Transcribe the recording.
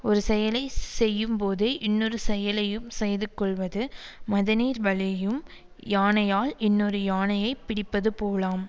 ஒரு செயலை செய்யும்போதே இன்னொரு செயலையும் செய்து கொள்வது மதநீர் வழியும் யானையால் இன்னொரு யானையை பிடிப்பது போலாம்